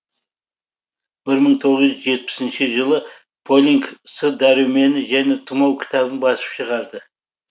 бір мың тоғыз жетпісінші жылы полинг с дәрумені және тұмау кітабын басып шығарды